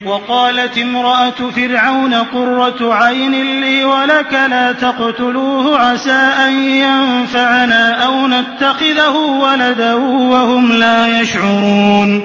وَقَالَتِ امْرَأَتُ فِرْعَوْنَ قُرَّتُ عَيْنٍ لِّي وَلَكَ ۖ لَا تَقْتُلُوهُ عَسَىٰ أَن يَنفَعَنَا أَوْ نَتَّخِذَهُ وَلَدًا وَهُمْ لَا يَشْعُرُونَ